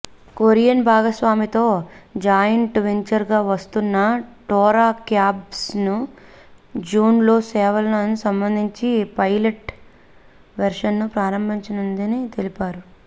Korean భాగస్వామితో joint వెంచర్గా వస్తున్న టోరా క్యాబ్స్ జూన్లో సేవలకు సంబంధించి పైలట్ వెర్షన్ను ప్రారంభించిందని తెలిపారు